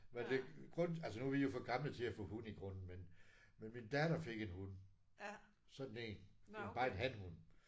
Men det grunden altså nu er vi jo for gamle til at få hund i grunden men men min datter fik en hund. Sådan én. Men bare en hanhund